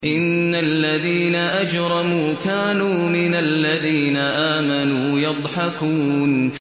إِنَّ الَّذِينَ أَجْرَمُوا كَانُوا مِنَ الَّذِينَ آمَنُوا يَضْحَكُونَ